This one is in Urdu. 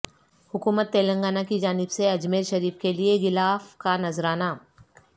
حکومت تلنگانہ کی جانب سے اجمیر شریف کیلئے غلاف کانذرانہ